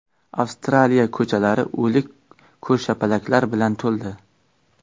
Avstraliya ko‘chalari o‘lik ko‘rshapalaklar bilan to‘ldi.